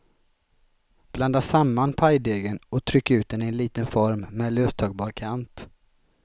Blanda samman pajdegen och tryck ut den i en liten form med löstagbar kant.